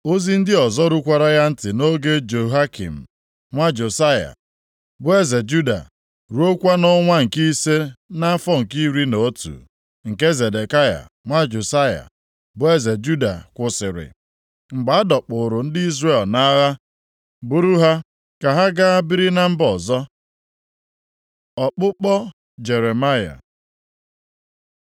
Ozi ndị ọzọ rukwara ya ntị nʼoge Jehoiakim nwa Josaya, bụ eze Juda, ruokwa nʼọnwa nke ise nʼafọ nke iri na otu nke Zedekaya nwa Josaya, bụ eze Juda kwụsịrị, mgbe a dọkpụụrụ ndị Jerusalem nʼagha buru ha ka ha gaa biri na mba ọzọ. Ọkpụkpọ Jeremaya